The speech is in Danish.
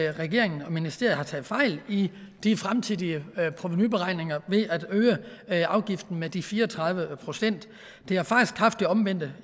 regeringen og ministeriet har taget fejl i de fremtidige provenuberegninger ved at øge afgiften med de fire og tredive procent det har faktisk haft den omvendte